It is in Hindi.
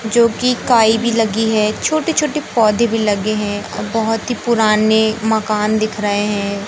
जो कि काई भी लगी है छोटे छोटे पौधे भी लगे हैं अ बहोत ही पुराने मकान दिख रहे हैं।